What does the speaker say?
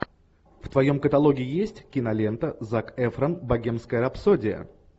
в твоем каталоге есть кинолента зак эфрон богемская рапсодия